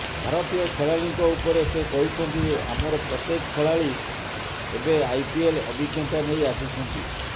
ଭାରତୀୟ ଖେଳାଳିଙ୍କ ଉପରେ ସେ କହିଛନ୍ତି ଯେ ଆମର ପ୍ରତ୍ୟେକ ଖେଳାଳି ଏବେ ଆଇପିଏଲ୍ ଅଭିଜ୍ଞତା ନେଇ ଆସିଛନ୍ତି